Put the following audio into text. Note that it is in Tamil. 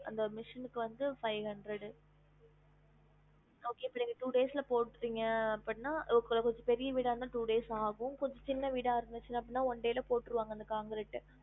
அந்த machine க்கு வந்து five hundred okay இப்ப நீங்க two days ல போடுவிங்க அப்டினா கொஞ்சம் பெரிய வீடா இருந்தாலும் two day ஆகும் கொஞ்ச சின்ன வீடா இருந்துச்சி அப்பிடினா one day ல போட்டுருவாங்க அந்த concrete அ